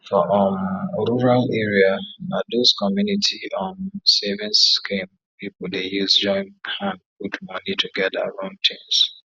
for um rural area na those community um savings scheme people dey use join hand put money together run things